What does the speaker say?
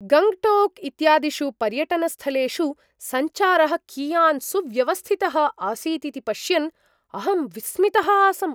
गङ्ग्टोक् इत्यादिषु पर्यटनस्थलेषु सञ्चारः कियान् सुव्यवस्थितः आसीत् इति पश्यन् अहं विस्मितः आसम्।